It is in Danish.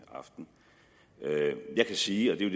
aften jeg kan sige og det